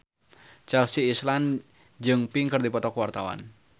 Chelsea Islan jeung Pink keur dipoto ku wartawan